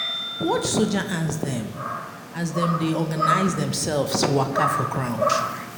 Watch soldier ants dem as dem dey organize demselves waka for ground.